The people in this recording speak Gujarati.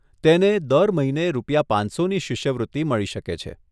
તેને દર મહિને રૂપિયા પાંચસોની શિષ્યવૃત્તિ મળી શકે છે.